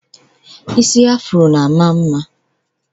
Ụdị isi Afro na-ama mma